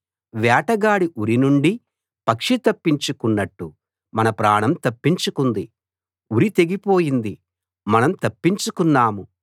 వేటగాడి ఉరి నుండి పక్షి తప్పించుకొన్నట్టు మన ప్రాణం తప్పించుకుంది ఉరి తెగిపోయింది మనం తప్పించుకున్నాము